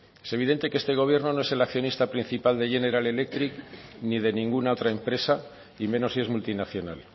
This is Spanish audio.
es evidente que este gobierno no es el accionista principal de general electric ni de ninguna otra empresa y menos si es multinacional